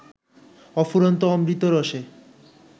অফুরন্ত অমৃত রসে